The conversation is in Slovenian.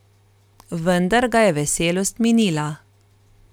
Vendar ga je veselost minila.